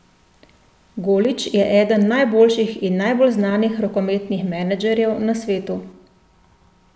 Golić je eden najboljših in najbolj znanih rokometnih menedžerjev na svetu.